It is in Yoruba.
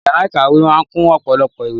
Yàrá ìkàwé náà kún ọ̀pọ̀lọpọ̀ ìwé